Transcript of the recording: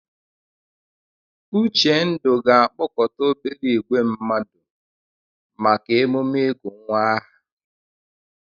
Uchendu ga-akpọkọta obere ìgwè mmadụ maka emume ịgụ nwa aha.